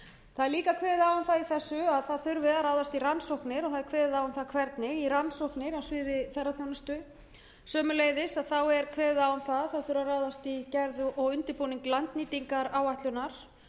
það er líka kveðið á um það í þessu að ráðast þurfi í rannsóknir og það er kveðið á um það hvernig í rannsóknir á sviði ferðaþjónustu sömuleiðis er kveðið á um að ráðast þurfi í gerð og undirbúning landnýtingaráætlunar